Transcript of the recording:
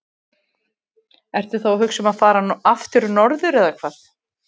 Ertu þá að hugsa um að fara aftur norður eða hvað?